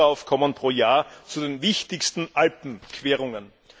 t Güteraufkommen pro Jahr zu den wichtigsten Alpenquerungen.